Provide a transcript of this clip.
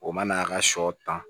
O mana ka sɔ ta